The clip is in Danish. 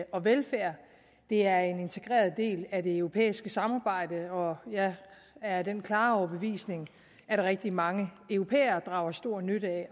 og velfærd det er en integreret del af det europæiske samarbejde og jeg er af den klare overbevisning at rigtig mange europæere drager stor nytte af